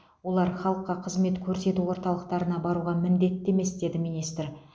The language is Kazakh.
олар халыққа қызмет көрсету орталықтарына баруға міндетті емес деді министр